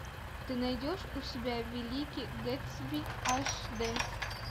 ты найдешь у себя великий гэтсби аш дэ